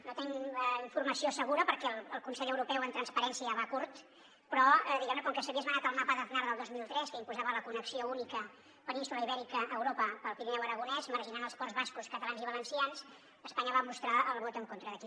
no en tenim informació segura perquè el consell europeu en transparència va curt però diguem ne com que s’havia esmenat el mapa d’aznar del dos mil tres que imposava la connexió única península ibèrica europa pel pirineu aragonès marginant els ports bascos catalans i valencians espanya va mostrar el vot en contra d’aquí